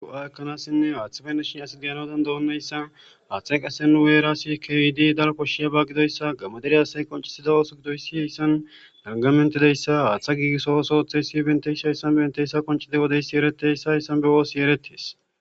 Go7a ekkanassinne haaththafeashin asdeyanodan doonneyssa haaththay qase nu weera sikyidi dal koshshiya ba gidoyssa gamadere asay qoncisida ooso gidoyssi heyssan dargamentideyssa haaththa giigisso ooso ooththey si bentey shayssan benteyssa koncide wodeysi ereteyssa heyssan be woosi eretees